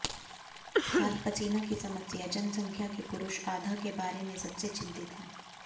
हाथ पसीना की समस्या जनसंख्या के पुरुष आधा के बारे में सबसे चिंतित हैं